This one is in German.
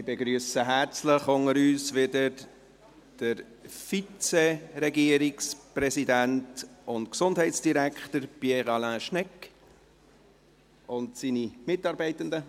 Ich begrüsse wieder herzlich unter uns den Vizeregierungspräsidenten und Gesundheitsdirektor, Pierre Alain Schnegg, und seine Mitarbeitenden.